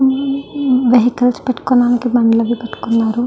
హు హు వెహికల్స్ పెట్టుకోడానికి బండలు అవి పెట్టుకున్నారు.